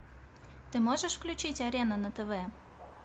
ты можешь включить арена на тв